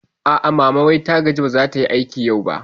A'a, mama wai ta gaji ba zatayi aiki yau ba